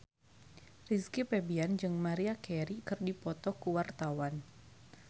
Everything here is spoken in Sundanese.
Rizky Febian jeung Maria Carey keur dipoto ku wartawan